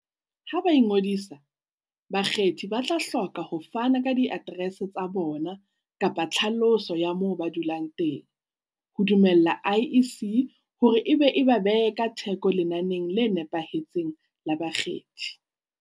Ha ba ingodisa, bakgethi ba tla hloka ho fana ka diaterese tsa bona kapa tlhaloso ya moo ba dulang teng, ho dumella IEC hore e ba be e ka theko lenaneng le nepahetseng la bakgethi.